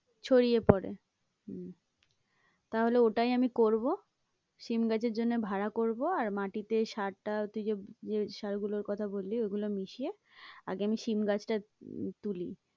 ছড়িয়ে পরে হম তাহলে ওটাই আমি করবো সিম গাছের জন্য ভাড়া করবো, আর মাটিতে সারটা তুই যে যে সার গুলোর কথা বললি ঐগুলো মিশিয়ে আগে আমি সিম গাছটা তুলি।